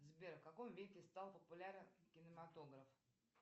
сбер в каком веке стал популярен кинематограф